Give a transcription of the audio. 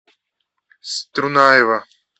струнаева